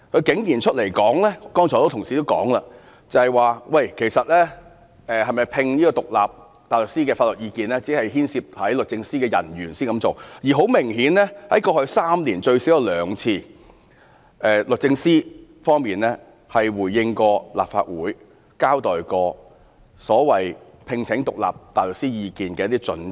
剛才很多同事提到，她竟說就是否外聘獨立大律師的法律意見，只有牽涉律政司的人員時才會這樣做，而很明顯，過去3年律政司最少有兩次回應立法會，交代有關聘請獨立大律師意見的一些準則。